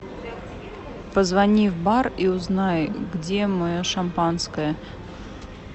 позвони в бар и узнай где мое шампанское